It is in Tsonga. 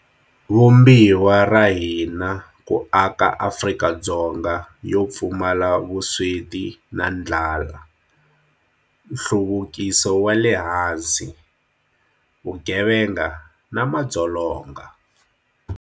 Vumbiwa ra hina ku aka Afrika-Dzonga yo pfumala vusweti na ndlala, hluvukiso wa le hansi, vugevenga na madzolonga.